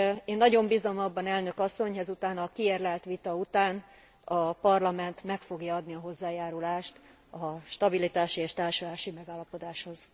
Én nagyon bízom abban, elnök asszony, ezután a kiérlelt vita után a Parlament meg fogja adni a hozzájárulást a stabilitási és társulási megállapodáshoz.